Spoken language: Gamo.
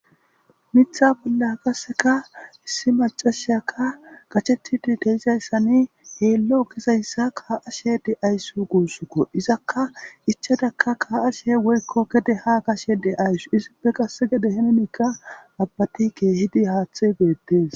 Mitha bolla qasseka issi macasheyaka gachettidi deizayssani heello gizayssa kaa7ashe de7ayssu guussukko izakka ichadaka ka7ashe woykko gede ha gashe de ayssu isippe qasse gede henemikka abbati keehidi haathe beettes